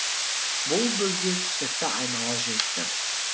бұл бөгде түсікті айнала жүзді